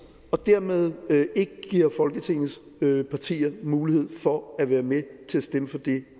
og dermed ikke giver folketingets partier mulighed for at være med til at stemme for det